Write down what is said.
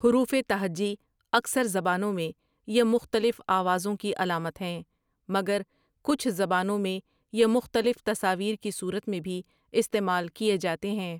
حروفِ تہجی اکثر زبانوں میں یہ مختلف آوازوں کی علامات ہیں مگر کچھ زبانوں میں یہ مختلف تصاویر کی صورت میں بھی استعمال کیے جاتے ببر ہیں ۔